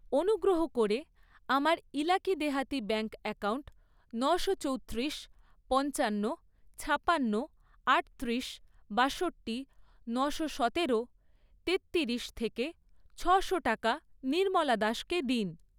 অনুগ্রহ করে আমার ইলাকি দেহাতি ব্যাঙ্ক অ্যাকাউন্ট নশো চৌত্রিশ, পঞ্চান্ন, ছাপান্ন, আটত্রিশ, বাষট্টি, নশো সতেরো, তেত্তিরিশ থেকে ছয়শো টাকা নির্মলা দাসকে দিন।